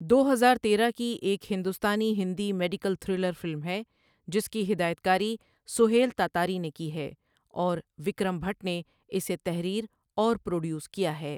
دو ہزار تیرہ کی ایک ہندوستانی ہندی میڈیکل تھرلر فلم ہے جس کی ہدایت کاری سہیل تاتاری نے کی ہے اور وکرم بھٹ نے اسے تحریر اور پروڈیوس کیا ہے۔